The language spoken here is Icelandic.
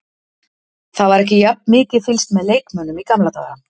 Það var ekki jafn mikið fylgst með leikmönnum í gamla daga.